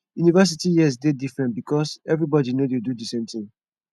university years de different because everybody no de do the same thing